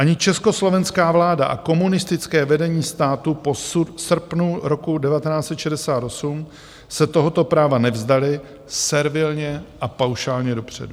Ani československá vláda a komunistické vedení státu v srpnu roku 1968 se tohoto práva nevzdaly servilně a paušálně dopředu.